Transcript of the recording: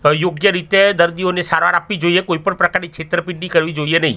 યોગ્ય રીતે દર્દીઓને સારવાર આપવી જોઈએ કોઈ પણ પ્રકારની છેતરપિંડી કરવી જોઈએ નઈ.